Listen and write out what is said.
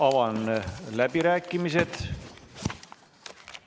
Avan läbirääkimised.